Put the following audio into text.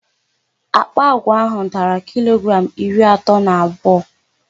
Àkpà àgwà áhụ̀ dara kilogramụ iri atọ na abụọ.